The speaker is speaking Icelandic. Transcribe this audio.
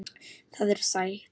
Það er sætt.